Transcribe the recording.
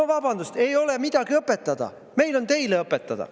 No vabandust, ei ole midagi õpetada, meil on teile õpetada.